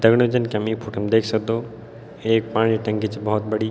दगड़ियों जन की हम यी फोटो मा देख सक्दो एक पाणी टंकी च भोत बड़ी।